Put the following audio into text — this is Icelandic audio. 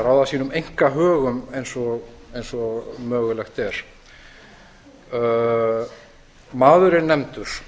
að ráða sínum einkahögum eins og mögulegt er maður er nefndur